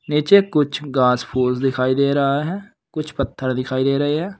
नीचे कुछ घास फूस दिखाई दे रहा है कुछ पत्थर दिखाई दे रहे हैं।